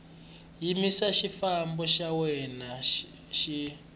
yimisa xifambo xa wena xi